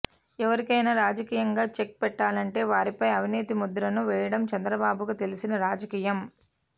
ఎవరికైనా రాజకీయంగా చెక్ పెట్టాలంటే వారిపై అవినీతి ముద్రను వేయడం చంద్రబాబుకు తెలిసిన రాజకీయం